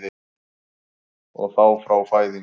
Og þá frá fæðingu?